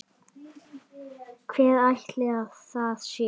Hver ætli það sé?